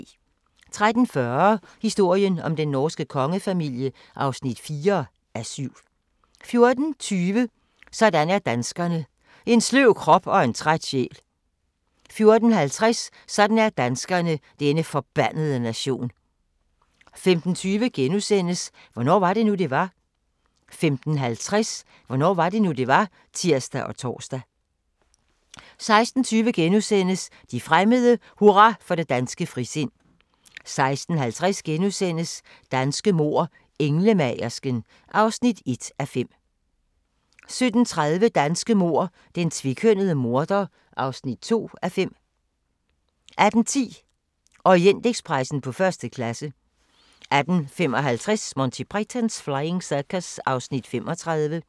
13:40: Historien om den norske kongefamilie (4:7) 14:20: Sådan er danskerne: En sløv krop og en træt sjæl 14:50: Sådan er danskerne: Denne forbandede nation 15:20: Hvornår var det nu, det var? * 15:50: Hvornår var det nu, det var? (tir og tor) 16:20: De fremmede: Hurra for det danske frisind * 16:50: Danske mord: Englemagersken (1:5)* 17:30: Danske mord: Den tvekønnede morder (2:5) 18:10: Orientekspressen på første klasse 18:55: Monty Python's Flying Circus (35:45)